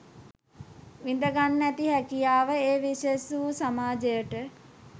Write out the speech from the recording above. විඳගන්න ඇති හැකියාව ඒ විශෙෂ වූ සමාජයට